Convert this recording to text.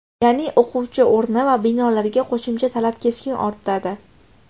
Ya’ni o‘quvchi o‘rni va binolarga qo‘shimcha talab keskin ortadi.